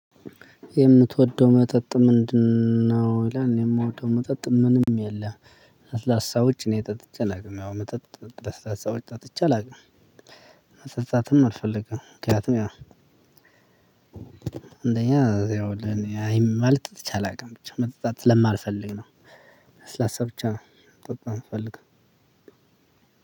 የምትወደው መጠጥ ምንድነው? ይላል የምወደው መጠጥ ምንም የለም ለስላሳዎች እኔ ጠጥቼ አላውቅም ያው መጠጥ ለስላሳዎች ጠጥቼ አላውቅም መጠጣትም አልፈልግም። ምክንያቱም ያ አንደኛ ያው ለኔ ማለት ጠጥቼ አላውቅም ብቻ መጠጣት ስለማልፈልግ ነው። ለስላሰ ብቻ